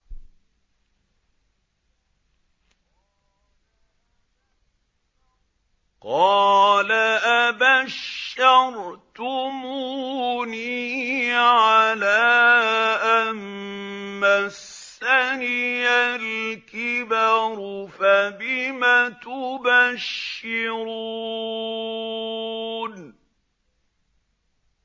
قَالَ أَبَشَّرْتُمُونِي عَلَىٰ أَن مَّسَّنِيَ الْكِبَرُ فَبِمَ تُبَشِّرُونَ